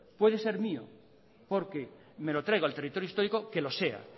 puede servir porque me lo traigo al territorio histórico que lo sea